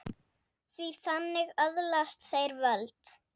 Því þannig öðlast þeir völd.